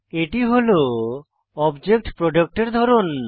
এটি হল object product এর ধরন